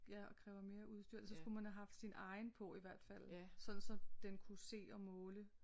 Ja og kræver mere udstyr så skulle man have haft sin egen på i hvert fald sådan så den kunne se og måle